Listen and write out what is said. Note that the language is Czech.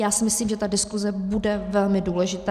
Já si myslím, že ta diskuze bude velmi důležitá.